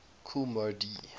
kool moe dee